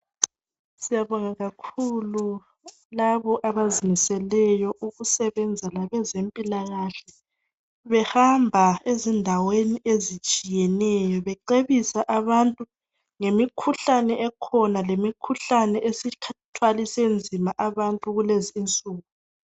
siyabonga kakhulu laba abazimiseleyo ukusebenza labezempila kahle behamba ezindaweni ezitshiyeneyo becebisa abantu ngemikhuhlane ekhona lemikhuhlane esithwalise nzima abantu kulezinsuku.